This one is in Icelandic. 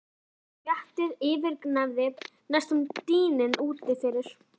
Kjamsið og smjattið yfirgnæfði næstum dyninn úti fyrir.